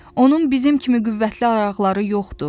Onun bizim kimi qüvvətli ayaqları yoxdu.